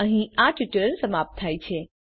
અહીં આ ટ્યુટોરીયલ સમાપ્ત થાય છે